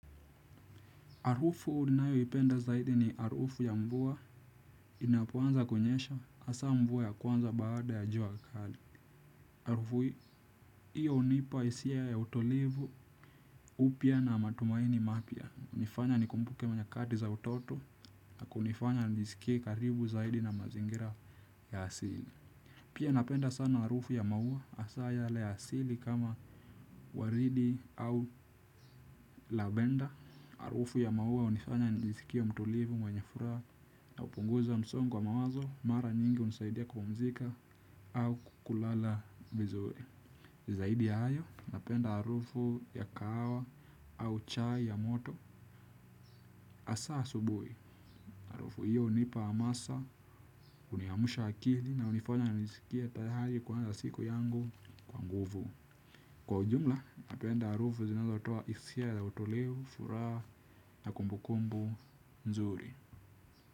Harufu ninayo ipenda zaidi ni harufu ya mvua inapoanza kunyesha hasa mvua ya kwanza baada ya jua kali. Harufu hiyo hunipa hisia ya utulivu upya na matumaini mapya. Hunifanya nikumbuke nyakati za utoto na kunifanya nijisikie karibu zaidi na mazingira ya asili pia napenda sana harufu ya maua hasa yale ya asili kama waridi au lavenda harufu ya maua hunifanya nijisikie mtulivu mwenye furaha na hupunguza msongo wa mawazo mara nyingi hunisaidia kupumzika au kulala vizuri zaidi ya hayo napenda harufu ya kahawa au chai ya moto hasa asubuhi harufu hiyo hunipa hamasa huniamusha akili na hunifanya nijiskie tayari kuanza siku yangu kwa nguvu kwa ujumla napenda harufu zinazotua hisia ya utulivu furaha na kumbukumbu nzuri.